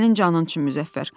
Sənin canın üçün Müzəffər.